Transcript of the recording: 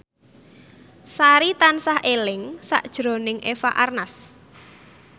Sari tansah eling sakjroning Eva Arnaz